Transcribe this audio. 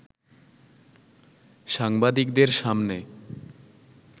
সাংবাদিকদের সামনে